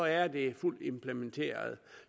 er det fuldt implementeret